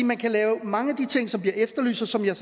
man kan lave mange af de ting som bliver efterlyst og som jeg